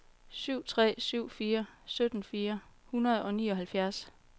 syv tre syv fire sytten fire hundrede og nioghalvfjerds